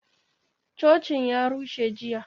Cocin ya rushe jiya